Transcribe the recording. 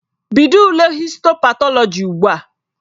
Bido ule histo patọlọji ugbu a!